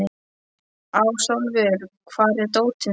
Ásólfur, hvar er dótið mitt?